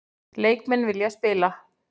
Leikmenn vilja spila